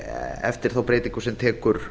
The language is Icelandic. eftir þá breytingu sem tekur